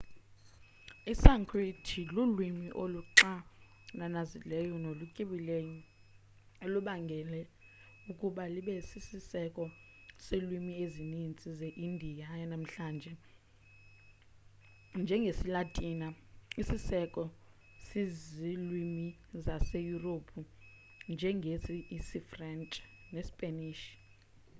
i-sanskrit lulwimi oluxananazileyo nolutyebileyo elubangele ukuba libe sisiseko selwimi ezinintsi ze indiya yanamhlanje njengesilatini isisiseko sezilwimi zaseyurophu njengesifrentshi nesipanish